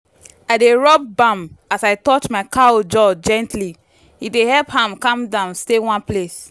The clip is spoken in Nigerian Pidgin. i dey rub balm as i touch my cow jaw gently—e dey help am calm down stay one place.